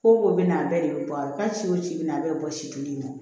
Ko ko bɛ na a bɛɛ de bɛ bɔ a kɔrɔ hali ci o ci bɛ na a bɛɛ bɛ bɔ si kelen in na